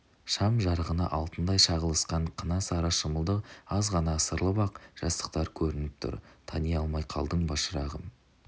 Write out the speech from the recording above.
шам жарығына алтындай шағылысқан қына сары шымылдық аз ғана ысырылып ақ жастықтар көрініп тұр тани алмай қалдың ба шырағым